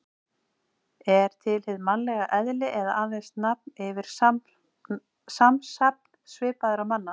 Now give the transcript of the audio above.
Er til hið mannlega eðli eða aðeins nafn yfir samsafn svipaðra manna?